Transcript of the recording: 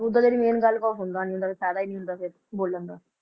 Main ਗੱਲ ਕਹੋ ਸੁਣਦਾ ਨੀ ਹੁੰਦਾ ਕੋਈ ਫ਼ਾਇਦਾ ਹੀ ਨੀ ਹੁੰਦਾ ਫਿਰ ਬੋਲਣ ਦਾ